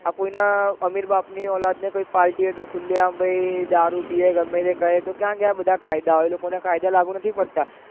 આ કોઈ ને અમીર બાપ ની ઓલાદ હોય એ નેહોય party ખુલે આમ ભાઈ દારૂ પીવે તો એ ગમે તે કરે તોક્યાં ગયા બધા કાયદા એ લોકો ને બધા કાયદા લાગ્યું નથી પડતા